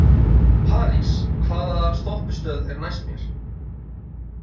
París, hvaða stoppistöð er næst mér?